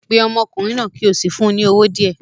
Pe ọmọkùnrin náà kí o sì fún un ní owó díẹ̀